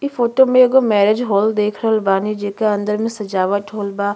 इ फोटो मे एगो मैरेज हॉल देख रहल बानी जेकर अंदर में सजावट होईल बा।